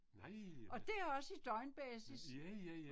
Nej ha. Ja ja ja